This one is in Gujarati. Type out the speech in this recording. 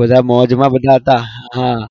બધા મોજમા બધા હતા હા